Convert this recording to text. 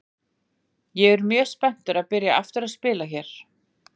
Ég er mjög spenntur að byrja aftur að spila hérna.